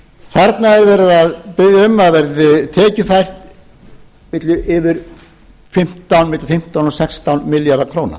þarna er verið að biðja um að það verði tekjufæra milli fimmtán og sextán milljarðar króna